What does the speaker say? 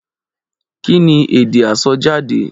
Kí ni èdè àsọjáde?